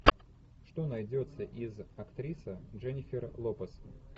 что найдется из актриса дженнифер лопес